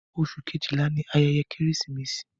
Oṣù kejìlá ni ayẹyẹ Kérésìmesì.